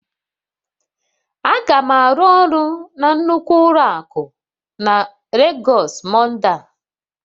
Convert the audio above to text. Aga m arụ ọrụ na nnukwu ụlọ akụ na Lagos Monday a